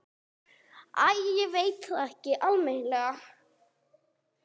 Æ, ég veit það ekki almennilega.